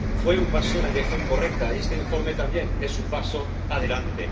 Fue un paso en la dirección correcta, y este informe también es un paso adelante.